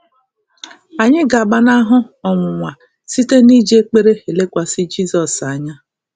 Anyị ga-agbanahụ ọnwụnwa site n’iji ekpere lekwasị Jizọs anya.